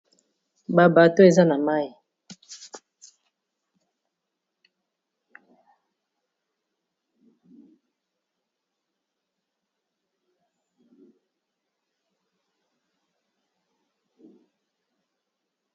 Ba Bateau eza na mayi.